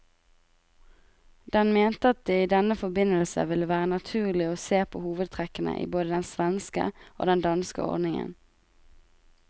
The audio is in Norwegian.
Den mente at det i denne forbindelse ville være naturlig å se på hovedtrekkene i både den svenske og den danske ordningen.